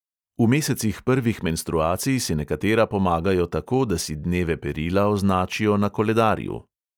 V mesecih prvih menstruacij si nekatera pomagajo tako, da si dneve perila označijo na koledarju.